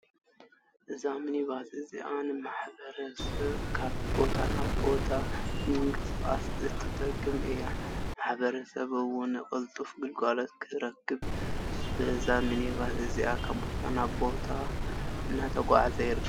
እዛምንባስ እዚኣ ንማሕበረሰብ ካብ ቦታ ናብ ቦታ ንምንቅስቃስ እትጠቅም እያ። ማሕበረሰብ እውን ቅልጡፍ ግልጋሎት ንክረክብ በዛ ምኒባስ እዚ ካብ ቦታ ናብ ቦታ እንዳተጓዓዘ ይርከብ።